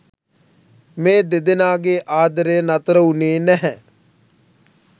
මේ දෙදෙනාගේ ආදරය නතර වුණේ නැහැ.